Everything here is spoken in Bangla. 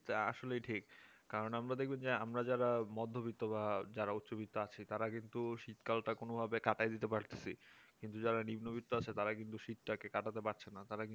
তা আসলে ঠিক কারণ আমরা দেখব যে আমরা যারা মধ্যবিত্ত বা যারা উচ্চবিদ আছে তারা কিন্তু শীতকালটা কোনভাবে কাটায় দিতে পারতেছি যারা নিম্নবিত্ত আছে তারা শীতটা কে কাটাতে পারছে না তারা কিন্তু